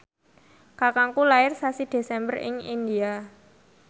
kakangku lair sasi Desember ing India